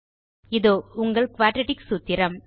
இதோ உங்கள் குயாட்ராட்டிக் சூத்திரம்